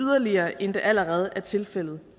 yderligere end det allerede er tilfældet